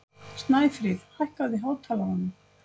Snæfríð, hækkaðu í hátalaranum.